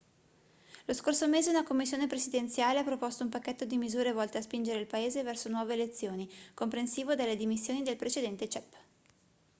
lo scorso mese una commissione presidenziale ha proposto un pacchetto di misure volte a spingere il paese verso nuove elezioni comprensivo delle dimissioni del precedente cep